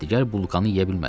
Digər bulkanı yeyə bilmədim.